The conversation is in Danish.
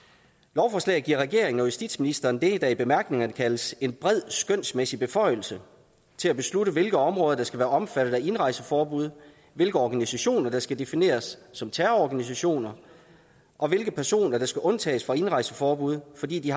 lovforslaget giver regeringen og justitsministeren det der i bemærkningerne kaldes en bred skønsmæssig beføjelse til at beslutte hvilke områder der skal være omfattet af indrejseforbud hvilke organisationer der skal defineres som terrororganisationer og hvilke personer der skal undtages fra indrejseforbud fordi de